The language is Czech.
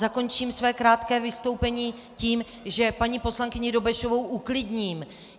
Zakončím své krátké vystoupení tím, že paní poslankyni Dobešovou uklidním.